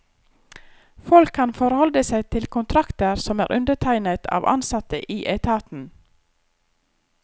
Folk kan forholde seg til kontrakter som er undertegnet av ansatte i etaten.